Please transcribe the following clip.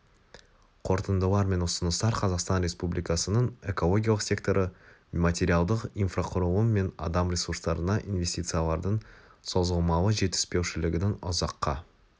қорытындылар мен ұсыныстар қазақстан республикасының экологиялық секторы материалдық инфрақұрылым мен адам ресурстарына инвестициялардың созылмалы жетіспеушілігінің ұзаққа